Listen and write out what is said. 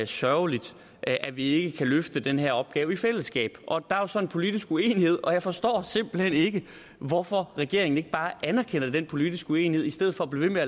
sørgeligt at at vi ikke kan løfte denne opgave i fællesskab der er så en politisk uenighed og jeg forstår simpelt hen ikke hvorfor regeringen ikke bare anerkender den politiske uenighed i stedet for at blive ved